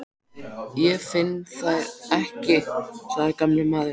Ég finn þær ekki sagði gamli maðurinn.